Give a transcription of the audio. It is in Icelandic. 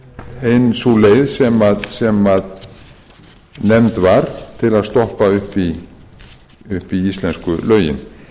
ein sú leið sem nefnd var til að stoppa upp í íslensku lögin